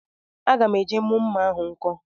Agam eje mu mma ahu nko